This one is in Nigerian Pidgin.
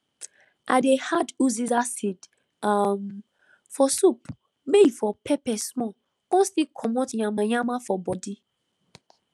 i dey add uziza seed um for soup may e for pepper small con still comot yanmayanma for body